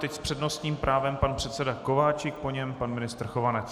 Teď s přednostním právem pan předseda Kováčik, po něm pan ministr Chovanec.